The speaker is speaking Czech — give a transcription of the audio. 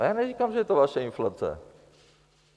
Ale já neříkám, že je to vaše inflace.